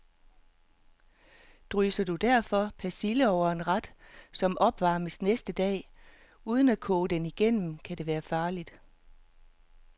Drysser du derfor persille over en ret, som opvarmes næste dag, uden at koge den igennem, kan det være farligt.